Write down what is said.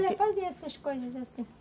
Eu já fazia essas coisas assim.